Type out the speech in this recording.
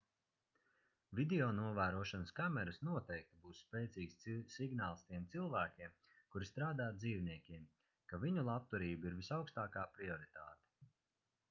videonovērošanas kameras noteikti būs spēcīgs signāls tiem cilvēkiem kuri strādā ar dzīvniekiem ka viņu labturība ir visaugstākā prioritāte